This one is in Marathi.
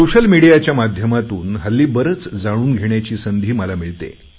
सोशल मिडियाच्या माध्यमातून हल्ली बरेच जाणून घेण्याची संधी मला मिळते